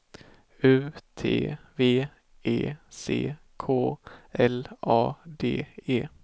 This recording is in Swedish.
U T V E C K L A D E